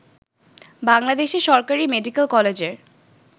বাংলাদেশে সরকারী মেডিকেল কলেজের